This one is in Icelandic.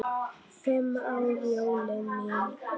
Fimm ára jólin mín.